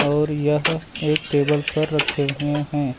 और यह एक टेबल पर रखे हुए हैं।